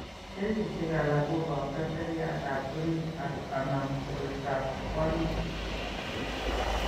Kesishek alak ko boto seriatab orit ak/anan koroitoab puanik.